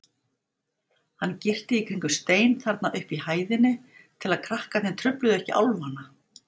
Hann girti í kringum stein þarna uppi í hæðinni til að krakkarnir trufluðu ekki álfana.